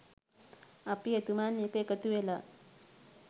අපි එතුමන් එක්ක එකතුවෙලා